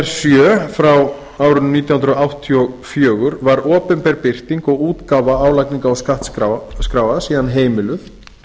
sjö nítján hundruð áttatíu og fjögur var opinber birting og útgáfa álagningar og skattskráa síðan heimiluð